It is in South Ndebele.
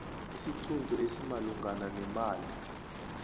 isiqunto esimalungana nemali